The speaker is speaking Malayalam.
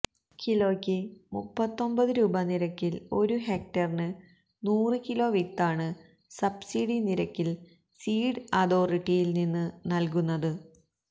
കിലോയ്ക്ക് മുപ്പത്തിയൊമ്പതു രൂപ നിരക്കില് ഒരു ഹെക്ടറിന് നൂറു കിലോ വിത്താണ് സബ്സിഡി നിരക്കില് സീഡ് അതോറിട്ടിയില് നിന്ന് നല്കുന്നത്